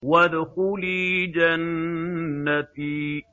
وَادْخُلِي جَنَّتِي